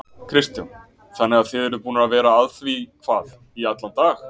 Kristján: Þannig að þið eruð búnir að vera að því hvað í allan dag?